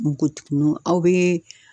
Npogotiginunw aw bee